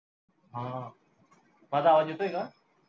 हा, माझा आवाज येतोय का?